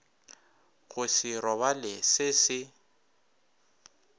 go se robale se se